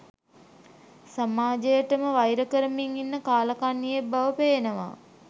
සමාජයටම වයිර කරමින් ඉන්න කාලකන්නියෙක් බව පේනවා